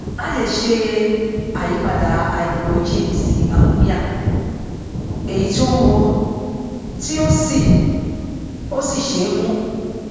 a lè ṣe àyípadà háídírójìn sí àmóníà èyí tí ó wúwo tí ó sì ó sì ṣe é mú